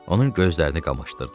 Onun gözlərini qamaşdırdı.